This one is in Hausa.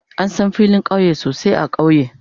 An san filin kauye sosai a kauye.